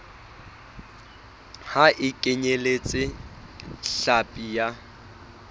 ha e kenyeletse hlapi ya